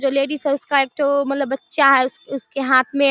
जो लेडिस है उसका एकठो मतलब बच्चा है उस उसके हाथ में --